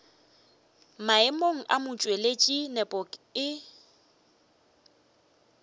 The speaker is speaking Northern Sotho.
maemong a motšweletši nepo e